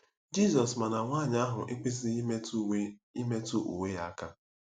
Jizọs ma na nwaanyị ahụ ekwesịghị imetụ uwe imetụ uwe ya aka.